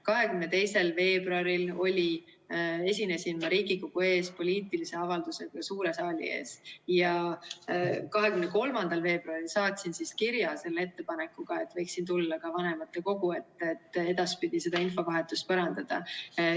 22. veebruaril esinesin ma Riigikogu suure saali ees poliitilise avaldusega ja 23. veebruaril saatsin kirja ettepanekuga, et võiksin tulla ka vanematekogu ette, et edaspidi seda infovahetust parandada.